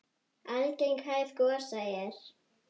Algeng hæð gosa er